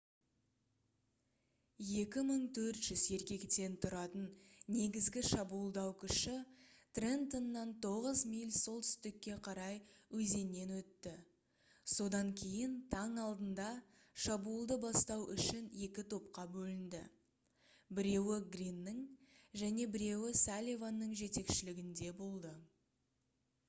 2400 еркектен тұратын негізгі шабуылдау күші трентоннан 9 миль солтүстікке қарай өзеннен өтті содан кейін таң алдында шабуылды бастау үшін 2 топқа бөлінді біреуі гриннің және біреуі салливанның жетекшілігінде болды